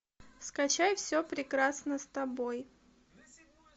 скачай все прекрасно с тобой